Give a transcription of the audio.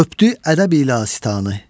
Öpdü ədəb ilə sıtanı.